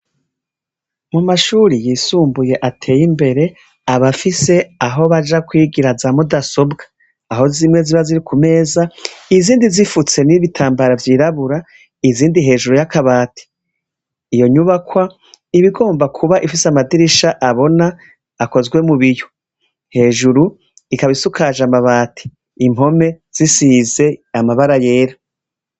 Amashure yisumbuye ateye imbere aba afise aho baja kwigira za mudasobwa, aho zimwe ziba ziri ku meza, izindi zifutse n'ibitambara vyirabura, izindi hejuru y'akabati. Iyo nyubakwa iba igomba kuba ifise amadirisha abona akozwe mu biyo, jeruru imana isakajwe amabati, impome zisize amabara yera.